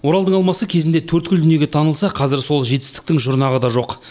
оралдың алмасы кезінде төрткүл дүниеге танылса қазір сол жетістіктің жұрнағы да жоқ